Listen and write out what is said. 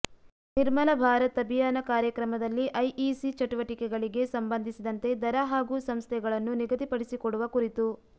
ನಿರ್ಮಲ ಭಾರತ್ ಅಭಿಯಾನ ಕಾರ್ಯಕ್ರಮದಲ್ಲಿ ಐಇಸಿ ಚಟುವಟಿಕೆಗಳಿಗೆ ಸಂಬಂಧಿಸಿದಂತೆ ದರ ಹಾಗೂ ಸಂಸ್ಧೆಗಳನ್ನು ನಿಗಧಿಪಡಿಸಿಕೊಡುವ ಕುರಿತು